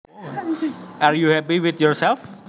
Are you happy with yourself